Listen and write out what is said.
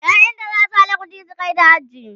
ƴaƴanta zasu haɗa ƙuɗi su kaita haji